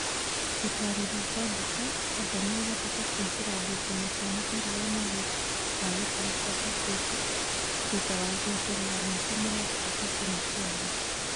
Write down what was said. Gũtarĩria kwa mbica, Tanga nĩ ĩhotete kũingĩra ngucanio cia mũbira wa magũrũ wa gĩtarũ kia Afirika thatha wa gũeterera mĩaka mĩrongo-ĩtatũ na kenda.